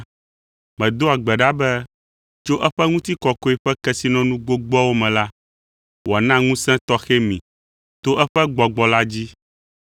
Medoa gbe ɖa be tso eƒe ŋutikɔkɔe ƒe kesinɔnu gbogboawo me la, wòana ŋusẽ tɔxɛ mi to eƒe Gbɔgbɔ la dzi,